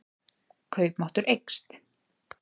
Kaupmáttur eykst